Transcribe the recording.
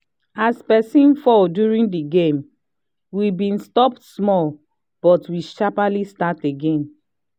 as person fall during the game we been stop small but we sharply start again